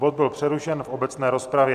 Bod byl přerušen v obecné rozpravě.